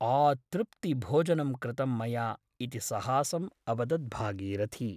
आतृप्ति भोजनं कृतं मया इति सहासम् अवदत् भागीरथी ।